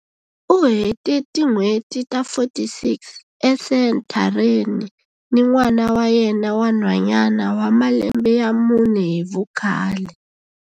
U hete tin'hweti ta 46 esenthareni ni n'wana wa yena wa nhwanyana wa malembe ya mune hi vukhale.